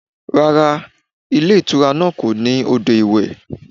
Rárá, ilé ìtura náà kò ní odò iwe.